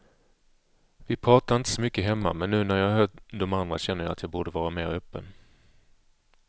Vi pratar inte så mycket hemma, men nu när jag hör de andra känner jag att jag borde vara mer öppen.